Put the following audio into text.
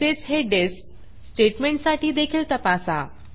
तसेच हे dispडिस्प स्टेटमेंटसाठी देखील तपासा